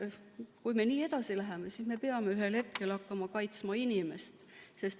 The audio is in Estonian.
Kui me nii edasi läheme, siis me peame ühel hetkel hakkama kaitsma inimest.